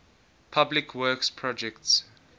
public works projects